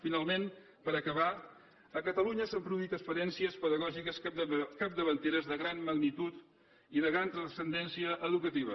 finalment per acabar a catalunya s’han produït experiències pedagògiques capdavanteres de gran magnitud i de gran transcendència educativa